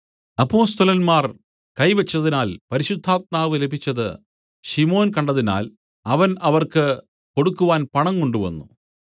അപ്പൊസ്തലന്മാർ കൈ വെച്ചതിനാൽ പരിശുദ്ധാത്മാവ് ലഭിച്ചത് ശിമോൻ കണ്ടതിനാൽ അവൻ അവർക്ക് കൊടുക്കുവാൻ പണം കൊണ്ടുവന്നു